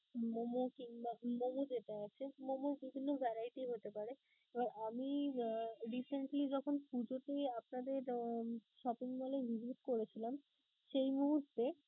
Momo কিংবা যেটা আছে momo বিভিন্ন variety র হতে পারে, এবার আমি আহ recently যখন পুঁজোতে আপনাদের আহ shopping mall এ করেছিলাম সেই মুহূর্তে